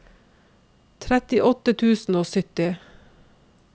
trettiåtte tusen og sytti